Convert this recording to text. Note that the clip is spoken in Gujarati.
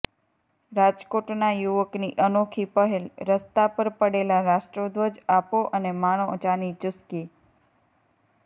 રાજકોટના યુવકની અનોખી પહેલઃ રસ્તા પર પડેલા રાષ્ટ્રધ્વજ આપો અને માણો ચાની ચૂસકી